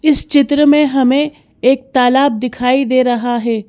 इस चित्र में हमें एक तालाब दिखाई दे रहा है।